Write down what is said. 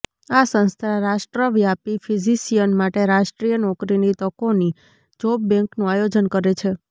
આ સંસ્થા રાષ્ટ્રવ્યાપી ફિઝીશિયન માટે રાષ્ટ્રીય નોકરીની તકોની જોબ બેન્કનું આયોજન કરે છે